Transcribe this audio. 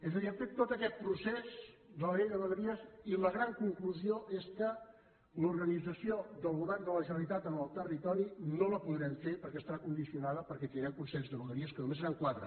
és a dir han fet tot aquest procés de la llei de vegueries i la gran conclusió és que l’organització del govern de la generalitat en el territori no la podrem fer perquè estarà condicionada perquè tindrem consells de vegueria que només seran quatre